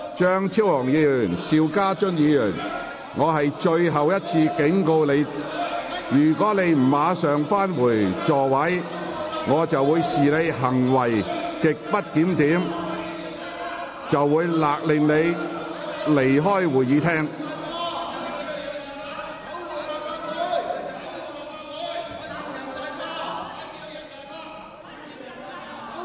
張超雄議員、邵家臻議員，我最後一次警告，如你們再不返回座位，我會視之為行為極不檢點，並命令你們離開會議廳。